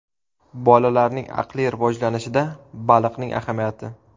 Bolalarning aqliy rivojlanishida baliqning ahamiyati.